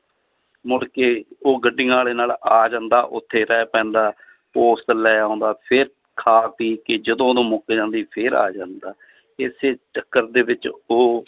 ਮੁੜਕੇ ਉਹ ਗੱਡੀਆਂ ਵਾਲੇ ਨਾਲ ਆ ਜਾਂਦਾ ਉੱਥੇ ਰਹਿ ਪੈਂਦਾ ਲੈ ਆਉਂਦਾ ਫਿਰ ਖਾ ਪੀ ਕੇ ਜਦੋਂ ਉਹ ਮੁੱਕ ਜਾਂਦੀ ਫਿਰ ਆ ਜਾਂਦਾ ਇਸੇ ਚੱਕਰ ਦੇ ਵਿੱਚ ਉਹ